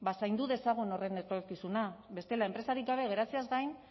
zaindu dezagun horren etorkizuna bestela enpresarik gabe geratzeaz gain